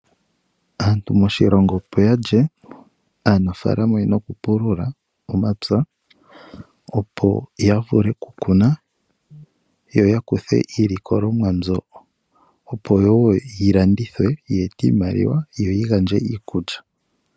Aantu moshilongo opo yalye aanafaalama oyena okupulula omapya opo yavule kukuna yo yakuthe iilikolomwa mbyo opowo yilandithwe yeete iimaliwa yoyi ete iikulya